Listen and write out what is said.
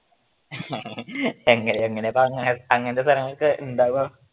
എങ്ങനെയാ അങ്ങനത്തെ സ്ഥലവൊക്കെ ഉണ്ടാവുക